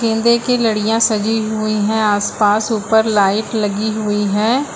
की लड़ियां सजी हुई है आस पास ऊपर लाइट लगी हुई है।